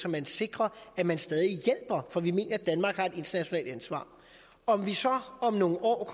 at man sikrer at man stadig hjælper for vi mener at danmark har et internationalt ansvar om vi så om nogle år